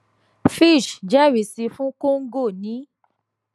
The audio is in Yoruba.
fitch jẹrisi fún congo ní